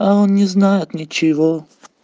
а он не знает ничего